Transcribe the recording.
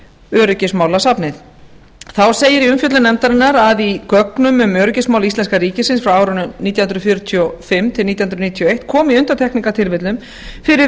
öryggismálasafnið þá segir í umfjöllun nefndarinnar að í gögnum um öryggismál íslenska ríkisins frá árunum nítján hundruð fjörutíu og fimm til nítján hundruð níutíu og eitt komi í undantekningartilfellum fyrir